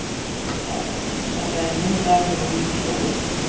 Þetta er minn dagur og mín sól.